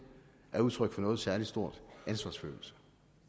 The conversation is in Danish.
er udtryk for nogen særlig stor ansvarsfølelse